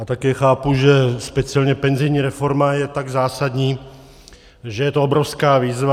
A také chápu, že speciálně penzijní reforma je tak zásadní, že je to obrovská výzva.